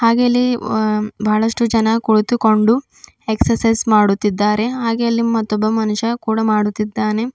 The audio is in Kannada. ಹಾಗೆಲೇ ಇಲ್ಲಿ ಅ ಬಹಳಷ್ಟು ಜನ ಕುಳಿತುಕೊಂಡು ಎಕ್ಸರ್ಸೈಜ್ ಮಾಡುತಿದ್ದಾರೆ ಹಾಗೆ ಅಲ್ಲಿ ಮತ್ತೊಬ್ಬ ಮನುಷ್ಯ ಕೂಡ ಮಾಡುತ್ತಿದ್ದಾನೆ.